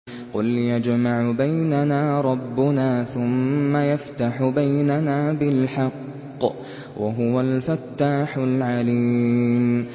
قُلْ يَجْمَعُ بَيْنَنَا رَبُّنَا ثُمَّ يَفْتَحُ بَيْنَنَا بِالْحَقِّ وَهُوَ الْفَتَّاحُ الْعَلِيمُ